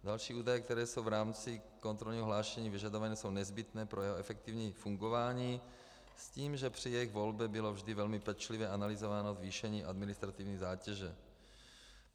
Další údaje, které jsou v rámci kontrolního hlášení vyžadovány, jsou nezbytné pro jeho efektivní fungování s tím, že při jejich volbě bylo vždy velmi pečlivě analyzováno zvýšení administrativní zátěže.